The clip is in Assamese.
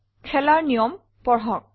খেলাৰ নিয়ম পঢ়ক